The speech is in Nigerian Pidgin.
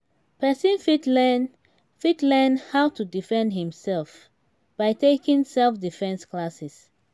persin fit learnn fit learnn how to defend im self by taking self-defence classes